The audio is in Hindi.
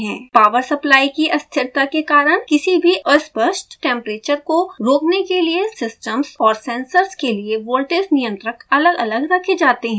पॉवर सप्लाई की अस्थिरता के कारण किसी भी अस्पष्ट टेम्परेचर को रोकने के लिए सिस्टम्स और सेंसर्स के लिए वोल्टेज नियंत्रक अलगअलग रखे जाते हैं